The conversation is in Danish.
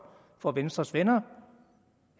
for venstres venner